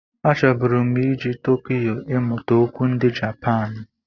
A chọburu m ije Tokiyo ịmụta okwu ndị Japan.